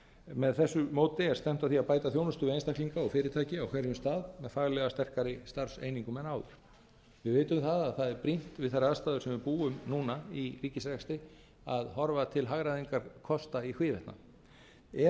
með þessu móti er stefnt að því að bæta þjónustu við einstaklinga og fyrirtæki á hverjum stað með faglega sterkari starfseiningum en áður við vitum það að það er brýnt við þær aðstæður sem við búum núna í ríkisrekstri að horfa til hagræðingarkosta í hvívetna ef okkur